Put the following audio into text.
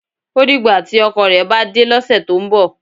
O dìgbà tí ọkọ rẹ̀ bá dé lọ́sẹ̀ tó ń bọ̀.